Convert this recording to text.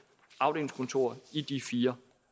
afdelingskontorer i de fire